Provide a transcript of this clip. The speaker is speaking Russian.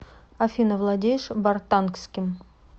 афина владеешь бартангским